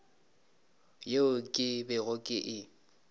yeo ke bego ke e